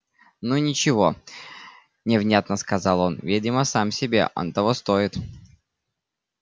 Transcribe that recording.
ну ничего невнятно сказал он видимо сам себе он того стоит